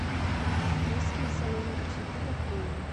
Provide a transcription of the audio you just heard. есть ли салоны красоты в отеле